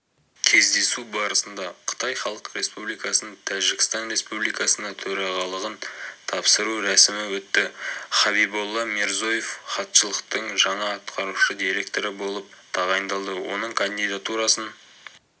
кездесу барысында қытай халық республикасынан тәжікстан республикасына төрағалығын тапсыру рәсімі өтті хабиболла мирзоев хатшылықтың жаңа атқарушы директоры болып тағайындалды оның кандидатурасын